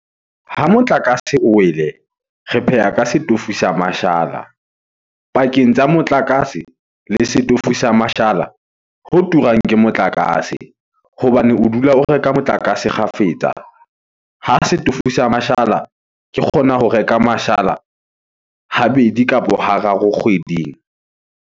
Ha motlakase o wele re pheha ka setofo sa mashala. Pakeng tsa motlakase le setofo sa mashala ho turang ke motlakase hobane o dula o reka motlakase kgafetsa. Ha setofo sa mashala ke kgona ho reka mashala habedi kapo hararo kgweding.